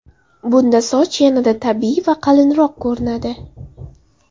Bunda soch yanada tabiiy va qalinroq ko‘rinadi.